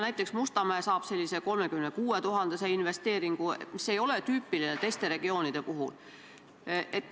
Näiteks saab Mustamäe 36 000 euro suuruse investeeringu, mis ei ole tüüpiline teiste regioonide puhul.